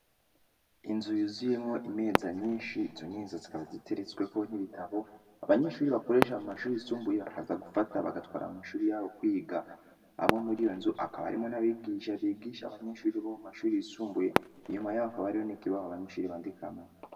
Inzu yuzuyemwo imeza nyinshi, izo meza zikaba ziteretsweko n’ibitabo, abanyeshuri bakoresha mu mashuri yisumbuye, bakaza gufata, bagatwara mu mashuri yabo kwiga; hama muri iyo nzu hakaba harimwo n’abigisha bigisha abanyeshuri bo mu mashure yisumbuye, inyuma y’aho hakaba hariho n’ikibaho abanyeshure bandikamwo.